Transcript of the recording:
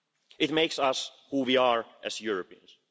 It makes us who we are as Europeans.